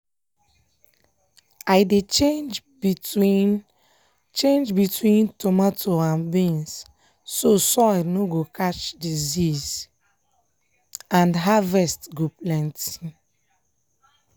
i dey change between change between tomato and beans so soil nor go catch disease and harvest go plenty.